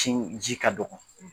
ji ka dɔgɔ.